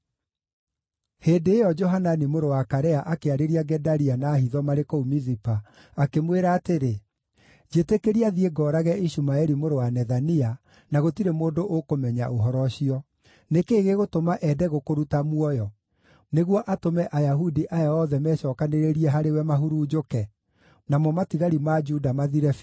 Hĩndĩ ĩyo Johanani mũrũ wa Karea akĩarĩria Gedalia na hitho marĩ kũu Mizipa, akĩmwĩra atĩrĩ: “Njĩtĩkĩria thiĩ ngoorage Ishumaeli mũrũ wa Nethania, na gũtirĩ mũndũ ũkũmenya ũhoro ũcio. Nĩ kĩĩ gĩgũtũma ende gũkũruta muoyo, nĩguo atũme Ayahudi aya othe mecookanĩrĩirie harĩwe mahurunjũke, namo matigari ma Juda mathire biũ?”